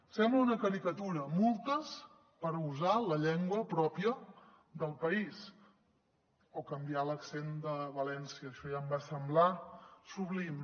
sembla una caricatura multes per usar la llengua pròpia del país o canviar l’accent de valència això ja em va semblar sublim